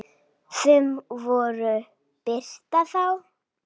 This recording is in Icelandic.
Sum voru birt þá.